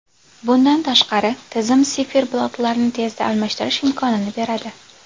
Bundan tashqari, tizim siferblatlarni tezda almashtirish imkonini beradi.